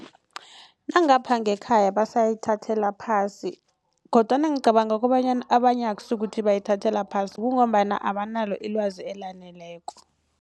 Nangapha ngekhaya basayithathela phasi kodwana ngicabanga kobanyana abanye akusikuthi bayithathela phasi kungombana abanalo ilwazi elaneleko.